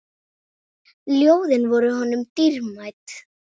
Ljóðin voru honum dýrmæt.